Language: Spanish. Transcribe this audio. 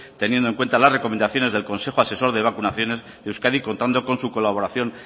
teniendo en cuenta las recomendaciones del consejo asesor de vacunaciones de euskadi contando con su colaboración